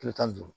Kilo tan ni duuru